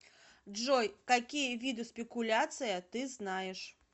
джой какие виды спекуляция ты знаешь